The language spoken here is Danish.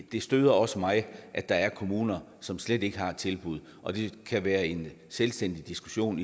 det støder også mig at der er kommuner som slet ikke har et tilbud og det kan være en selvstændig diskussion